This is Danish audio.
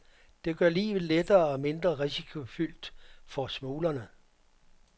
Det gør livet lettere og mindre risikofyldt for smuglerne.